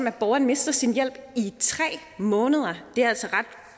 at borgeren mister sin hjælp i tre måneder det er altså